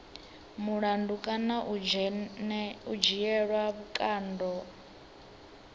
mulandu kana u dzhielwa vhukando